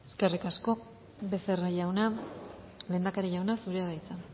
eskerrik asko becerra jauna lehendakari jauna zurea da hitza